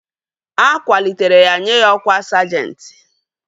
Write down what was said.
A kwalitere ya nye ya ọkwá sajenti